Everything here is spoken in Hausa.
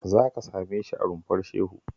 Za ka same shi a Rumfar Shehu